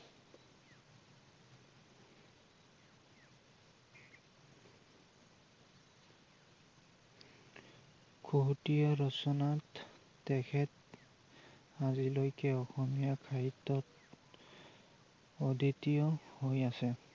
খুহুতীয়া ৰচনাত তেখেত আজিলৈকে অসমীয়া সাহিত্যত অদ্বিতীয় হৈ আছে ।